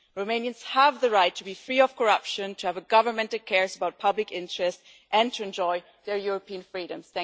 Romanians have the right to be free of corruption, to have a government that cares about public interest, and to enjoy their European freedoms.